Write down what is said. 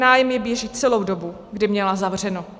Nájem jí běží celou dobu, kdy měla zavřeno.